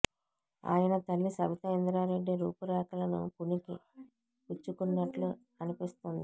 ఆయన తల్లి సబితా ఇంద్రారెడ్డి రూపురేఖలను పుణికి పుచ్చుకున్నట్లు అనిపిస్తోంది